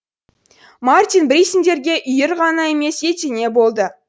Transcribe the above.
мартин бейссенденге үйір ғана емес етене болды